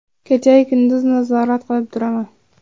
Kecha-yu kunduz nazorat qilib turaman.